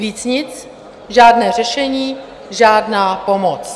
Víc nic, žádné řešení, žádná pomoc.